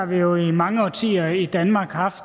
vi jo i mange årtier i danmark haft